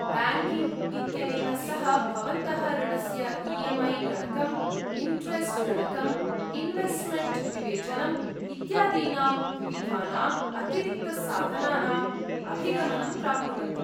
Banking इत्यनेन सह, भवन्तः ऋणस्य ई एम् ऐ गणकं, इणरेस्ट् गणकं, इन्वेस्ट्मेण्ट् विवेचनम्, इत्यादीनां विविधानाम् अतिरिक्तसाधनानाम् अभिगमनं प्राप्नुवन्ति।